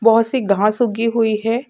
बहुत सी घास उगी हुई है|